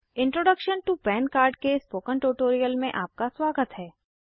introduction to PAN card के spoken tutorial में आपका स्वागत है